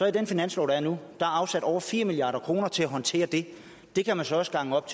i den finanslov der er nu er afsat over fire milliard kroner til at håndtere det det kan man så også gange op